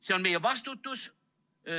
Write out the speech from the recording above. See on meie vastutus.